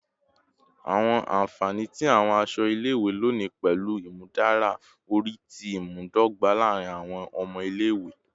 Awọn anfani ti awọn aṣọ ile-iwe loni pẹlu imudara ori ti imudogba laarin awọn ọmọ ile-iwe